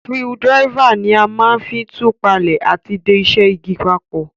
Screwdriver ni a ma n fi tù palẹ́ àti de isẹ́ igi papò